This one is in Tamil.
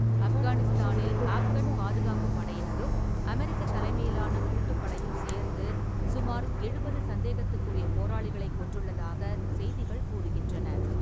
ஆஃப்கானிஸ்தானில் ஆஃப்கான் பாதுகாப்புப் படையினரும் அமெரிக்கத் தலைமையிலான கூட்டுப்படையும் சேர்ந்து சுமார் எழுபது சந்தேகத்துக்குரிய போராளிகளைக் கொன்றுள்ளதாக செய்திகள் கூறுகின்றன.